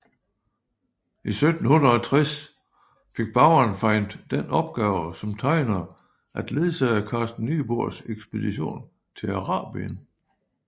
I 1760 fik Baurenfeind den opgave som tegner at ledsage Carsten Niebuhrs ekspedition til Arabien